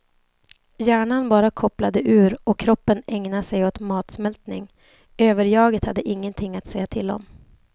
Hjärnan bara kopplade ur och kroppen ägnade sig åt matsmältning, överjaget hade ingenting att säga till om.